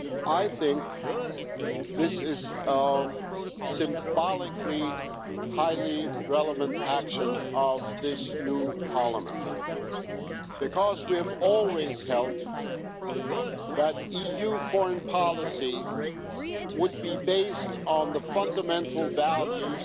I think this is a symbolically highly relevant action by this new Parliament because we have always held that EU foreign policy would be based on the fundamental values